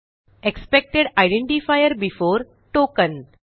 expected identifier before token